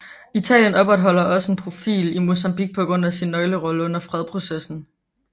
Italien opretholder også en profil i Mozambique på grund af sin nøglerolle under fredsprocessen